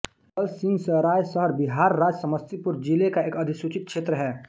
दलसिंहसराय शहर बिहार राज्य समस्तीपुर जिले का एक अधिसूचित क्षेत्र है